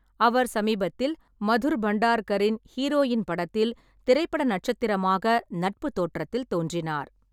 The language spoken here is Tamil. அவர் சமீபத்தில் மதுர் பண்டார்கரின் ஹீரோயின் படத்தில் திரைப்பட நட்சத்திரமாக நட்பு தோற்றத்தில் தோன்றினார்.